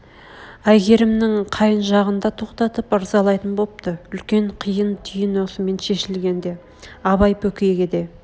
әйгерімнің қайын жағын да тоқтатып ырзалайтын бопты үлкен қиын түйін осымен шешілген еді абай бекейге де